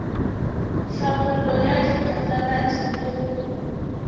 tlhabollo ya diphatlalatši le go